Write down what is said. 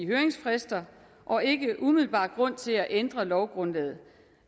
høringsfrister og ikke umiddelbart grund til at ændre lovgrundlaget